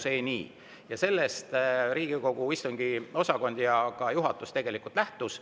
Sellest Riigikogu istungiosakond ja ka juhatus lähtusid.